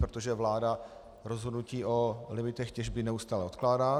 Protože vláda rozhodnutí o limitech těžby neustále odkládá.